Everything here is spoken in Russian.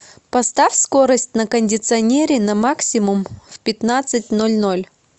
поставь скорость на кондиционере на максимум в пятнадцать ноль ноль